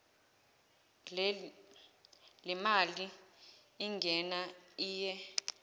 lemali ingena iye